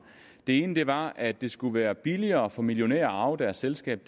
det ene var at det skulle være billigere for millionærer at arve deres selskab